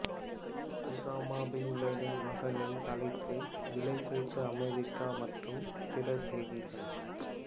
Osama bin Laden மகனின் தலைக்கு விலை வைத்த அமெரிக்கா மற்றும் பிற செய்திகள்